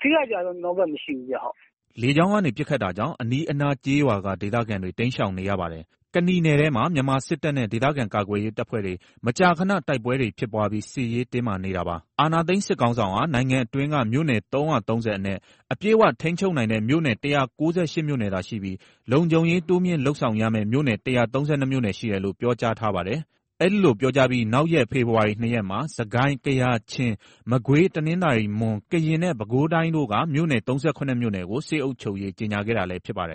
။ ထိခိုက်ကျဆုံးမှု ကျွန်တော်တို့ဘက်က မရှိဘူး။” လေကြောင်းကနေ ပစ်ခတ်တာကြောင့် အနီးအနားက ကျေးရွာက ဒေသခံတွေ တိမ်းရှောင်နေရပါတယ်။ ကနီနယ်ထဲမှာ မြန်မာစစ်တပ်နဲ့ ဒေသခံကာကွယ်ရေး တပ်ဖွဲ့တွေ မကြာခဏ တိုက်ပွဲတွေ ဖြစ်ပွားပြီး စစ်ရေးတင်းမာနေတာပါ။ အာာဏာသိမ်းစစ်ခေါင်းဆောင်ဟာ နိုင်ငံအတွင်းက မြို့နယ်ပေါင်း ၃၃၀ အနက် အပြည့်အ၀ ထိန်းချုပ်နိုင်တဲ့ မြို့နယ် ၁၉၈ မြို့နယ်သာ ရှိပြီး လုံခြုံရေးတိုးမြှင့်လုပ်ဆောင်ရမယ့် မြို့နယ် ၁၃၂ မြို့နယ်ရှိတယ်လို့ ပြောကြားထားပါတယ်။ အဲ့ဒီလို ပြောကြားပြီးနောက်ရက် ဖေဖော်ဝါရီ ၂ ရက်မှာ စစ်ကိုင်း ၊ ကယား ၊ ချင်း ၊ မကွေး ၊ တနင်္သာရီ ၊ မွန် ၊ ကရင်နဲ့ ပဲခူးတိုင်းတို့က မြို့နယ် ၃၇ မြို့နယ်ကို စစ်အုပ်ချုပ်ရေး ကြေငြာခဲ့တာလည်း ဖြစ်ပါတယ်